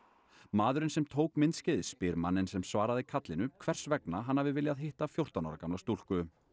maðurinn sem tók myndskeiðið spyr manninn sem svaraði kallinu hvers vegna hann hafi viljað hitta fjórtán ára gamla stúlku